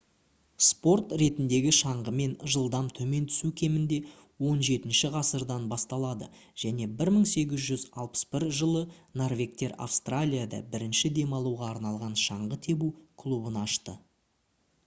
спорт ретіндегі шаңғымен жылдам төмен түсу кемінде 17-ші ғасырдан басталады және 1861 жылы норвегтер австралияда бірінші демалуға арналған шаңғы тебу клубын ашты